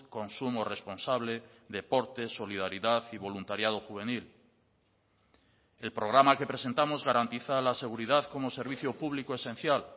consumo responsable deportes solidaridad y voluntariado juvenil el programa que presentamos garantiza la seguridad como servicio público esencial